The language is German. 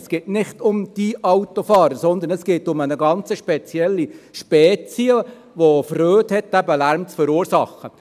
Es geht nicht um «die Autofahrer», sondern es geht um eine ganz spezielle Spezies, die eben Freude hat, Lärm zu verursachen.